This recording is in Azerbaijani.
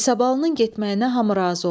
İsabalı'nın getməyinə hamı razı oldu.